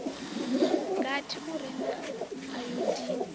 gathi u re na ayodini